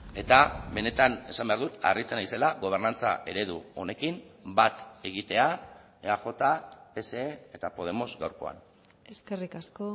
eta benetan esan behar dut harritzen naizela gobernantza eredu honekin bat egitea eaj pse eta podemos gaurkoan eskerrik asko